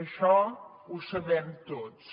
això ho sabem tots